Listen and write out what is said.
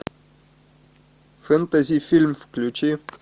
фэнтези фильм включи